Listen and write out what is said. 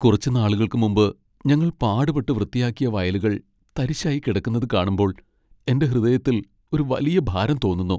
കുറച്ചു നാളുകൾക്കുമുമ്പ് ഞങ്ങൾ പാടുപെട്ട് വൃത്തിയാക്കിയ വയലുകൾ തരിശായി കിടക്കുന്നത് കാണുമ്പോൾ എന്റെ ഹൃദയത്തിൽ ഒരു വലിയ ഭാരം തോന്നുന്നു .